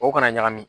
O kana ɲagami